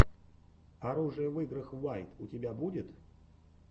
оружие в играх уайт у тебя будет